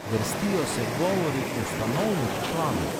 Vrstijo se govori ustanovnih članov.